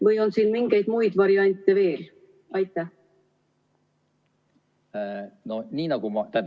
Või on siin mingeid muid variante veel?